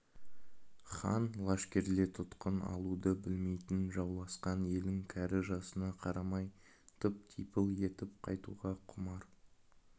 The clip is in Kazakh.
хан лашкерлерітұтқын алуды білмейтін жауласқан елін кәрі-жасына қарамай тып-типыл етіп қайтуға құмар